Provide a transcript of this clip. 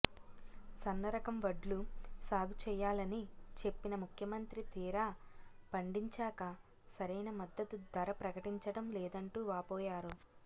సన్న రకం వడ్లు సాగుచేయాలని చెప్పిన ముఖ్యమంత్రి తీరా పండించాక సరైన మద్దతు ధర ప్రకటించడం లేదంటూ వాపోయారు